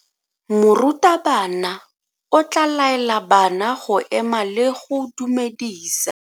Morutabana o tla laela bana go ema le go go dumedisa.